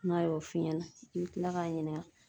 N'a y'o f'i ɲɛna i bi kila k'a ɲininka.